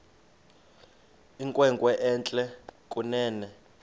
inkwenkwe entle kunene